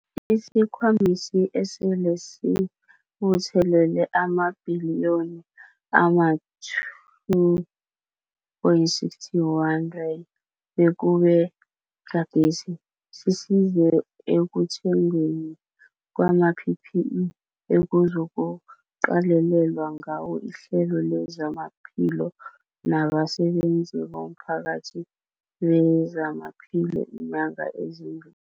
Isikhwamesi esele sibuthelele amabhiliyoni ama-R2.61 bekube gadesi, sisize ekuthengweni kwama-PPE ekuzokuqalelelwa ngawo ihlelo lezamaphilo nabasebenzi bomphakathi bezamaphilo iinyanga ezimbi